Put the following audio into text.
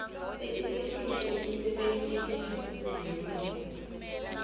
letisetulu emisebentini yahulumende